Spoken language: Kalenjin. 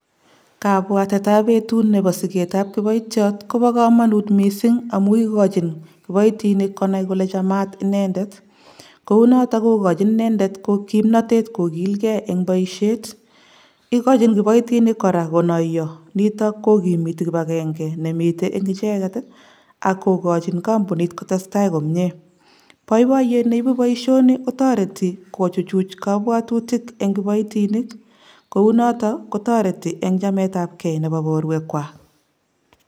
Kabwatetab betut nebo siketab kiboitiot koboo komonut misink amu ikojin kiboitinik konai kole chamat inendet kounoton kokojin inendet kimnotet kokilkee en boisiet ikojin kiboitinik koraa konoyo niton kokimitii kipakenge nemiten en icheket ii ak kokojin kompunit kotestai komie boiboiyet neibu boisioni kotoreti kochuchuch kobwotutik en kiboitink kounoton kotoreti en chametab kee nebo boruekwak.